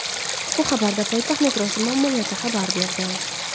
Bu haqda poytaxt metrosi ma’muriyati xabar berdi .